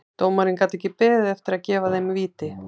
Dómarinn gat ekki beðið eftir því að gefa þeim víti.